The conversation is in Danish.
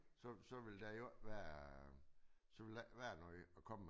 Så så ville der jo ikke være så ville der ikke være noget at komme med